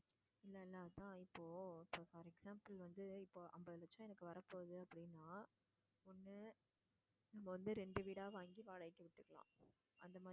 இது என்னன்னா இப்போ for example வந்து இப்போ அம்பது லட்சம் எனக்கு வர போகுது அப்படின்னா ஒண்ணு வந்து ரெண்டு வீடா வாங்கி வாடகைக்கு விட்டுக்கலாம். அந்த மாதிரி